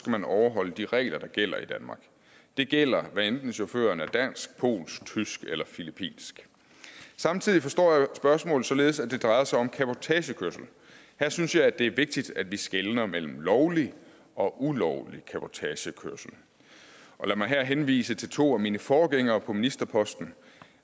man overholde de regler der gælder i danmark det gælder hvad enten chaufføren er dansk polsk tysk eller filippinsk samtidig forstår jeg spørgsmålet således at det drejer sig om cabotagekørsel her synes jeg det er vigtigt at vi skelner mellem lovlig og ulovlig cabotagekørsel lad mig her henvise til to af mine forgængere på ministerposten